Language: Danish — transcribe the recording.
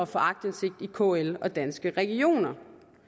få aktindsigt i kl og danske regioner